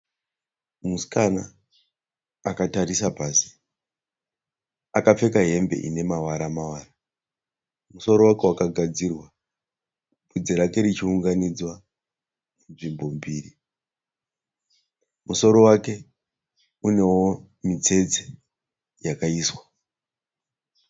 Musikana akatarisa pasi. Akapfeka hembe inemawara mawara. Vhudzi rake rakagadzirwa, musoro rake richiunganidzwa nzvimbo mbiri. Musoro wake unewo mitsetse yakaiswa.